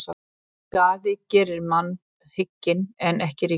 Skaðinn gerir mann hygginn en ekki ríkan.